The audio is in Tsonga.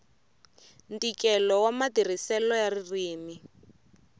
ntikelo wa matirhiselo ya ririmi